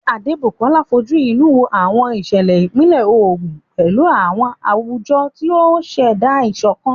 Adebukola fojú inú wo àwọn ìṣẹ̀lẹ̀ ìpínlẹ̀ Ogun pẹ̀lú aṣọ àwùjọ, tí ó ń ṣẹ̀dá ìṣọ̀kan